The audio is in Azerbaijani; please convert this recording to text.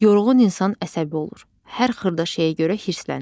Yorğun insan əsəbi olur, hər xırda şeyə görə hirslənir.